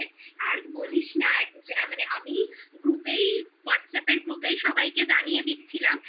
আর বলিস না মানে আমি group এই whatsapp group এই সবাইকে জানিয়ে দিচ্ছিলাম